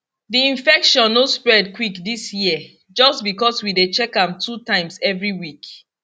di infection no spread quick dis year just because we dey check am two times every week